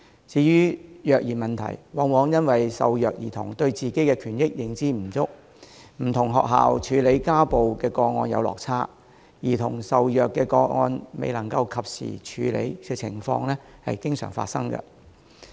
至於虐兒問題，往往因為受虐兒童對自己的權益認知不足，加上不同學校處理家暴個案的方式有落差，兒童受虐個案未能及時得到處理的情況經常發生。